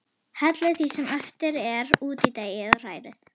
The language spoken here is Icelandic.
Hellið því sem eftir er út í deigið og hrærið.